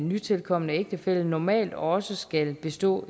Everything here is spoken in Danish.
nytilkomne ægtefælle normalt også skal bestå